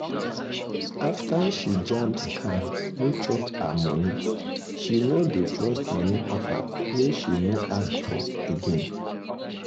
after she jam scam wey chop her money she no dey trust money offer wey she no ask for again.